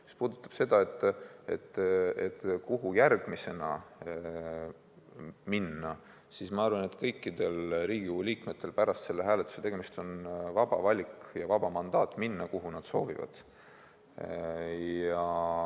Mis puudutab seda, kuhu järgmisena edasi minna, siis ma arvan, et kõikidel Riigikogu liikmetel pärast selle hääletuse tegemist on vaba valik ja vaba mandaat minna, kuhu nad soovivad.